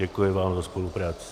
Děkuji vám za spolupráci.